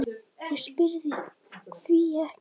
og ég spyr: hví ekki?